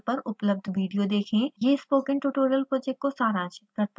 इस url पर उपलब्ध वीडियो देखें: